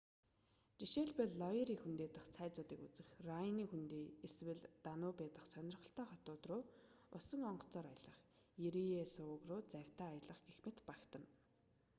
жишээлбэл лойри хөндий дахь цайзуудыг үзэх райнын хөндий эсвэл данубе дахь сонирхолтой хотууд руу усан онгоцоор аялах ерие суваг руу завьтай аялах гэх мэт багтана